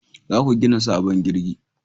Za ku gina sabon jirgi